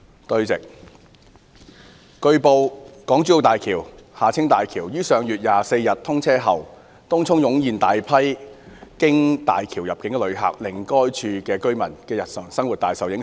主席，據報，港珠澳大橋於上月24日通車後，東涌湧現大批經大橋入境的遊客，令該處居民的日常生活大受影響。